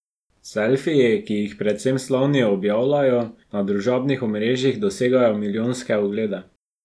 Selfiji, ki jih predvsem slavni objavljajo na družabnih omrežjih dosegajo milijonske oglede.